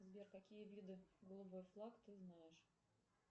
сбер какие виды голубой флаг ты знаешь